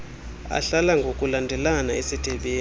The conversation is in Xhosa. ahlala ngokulandelana esithebeni